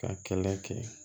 K'a kɛlɛ kɛ